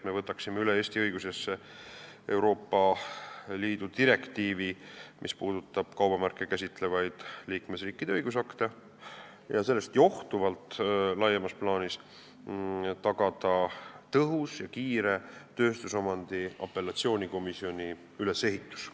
Me võtame Eesti õigusesse üle Euroopa Liidu direktiivi, mis puudutab kaubamärke käsitlevaid liikmesriikide õigusakte, et sellest johtuvalt laiemas plaanis tagada tõhus ja kiire tööstusomandi apellatsioonikomisjoni ülesehitus.